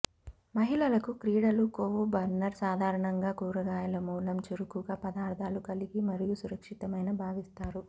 మహిళలకు క్రీడలు కొవ్వు బర్నర్ సాధారణంగా కూరగాయల మూలం చురుకుగా పదార్థాలు కలిగి మరియు సురక్షితమైన భావిస్తారు